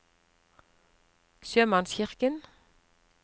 sjømannskirken